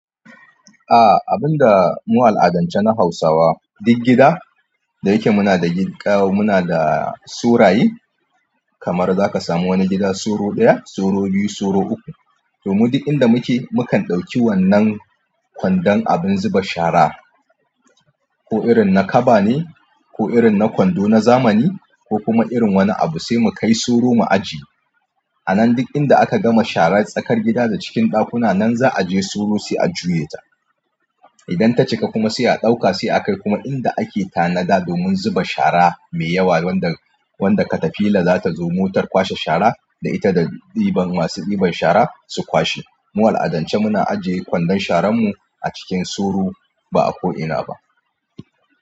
A abinda mu a al'adance na Hausawa duk gida da yake muna da gida muna da suraye kamar zaka samu wani gida soro ɗaya soro biyu soro uku domin duk inda muke mukan ɗauki wannan kwandon abin zuba shara ko irin na kaba ne ko irin na kwando na zamani ko kuma irin wani abu sai mu kai soro mu ajiye. A nan duk inda aka gama shara tsakar gida da cikin ɗakuna nan za'a je soro sai a juye ta. Idan ta cika kuma sai a ɗauka sai a kai kuma inda ake tanada domin zuba shara mai yawa wanda wanda ka tafila l za ta zo motar kwashe shara da ita da ɗiban masu ɗiban shara su kwashe. Mu a al'adance muna ajiye kwandon sharan mu a cikin soro ba a ko'ina ba.